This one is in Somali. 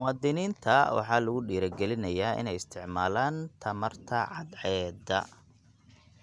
Muwaadiniinta waxaa lagu dhiirigelinayaa inay isticmaalaan tamarta cadceedda.